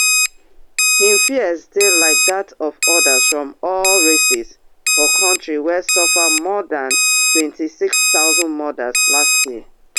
im fears dey like dat of odas from all races for kontri wey suffer more dan twenty-six thousand murders last year